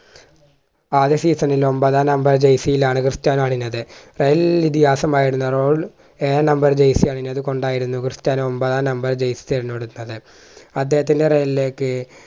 ആദ്യ season ൽ ഒൻപതാം number jersey യിലാണ് ക്രിസ്ത്യാനോ അണിഞ്ഞത് റയൽ ഇതിഹാസമായിരുന്ന റോണോ ഏഴാം number jersy അണിഞ്ഞത് കൊണ്ടായിരുന്നു ക്രിസ്റ്റിയാനോ ഒൻപതാം number jersey തിരഞ്ഞെടുത്തത് അദ്ദേഹത്തിന്റെ റയലിലേക്ക്